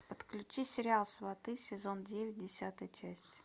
подключи сериал сваты сезон девять десятая часть